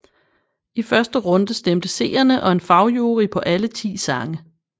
I første runde stemte seerne og en fagjury på alle 10 sange